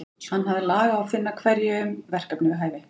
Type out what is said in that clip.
Hann hafði lag á að finna hverjum verkefni við hæfi.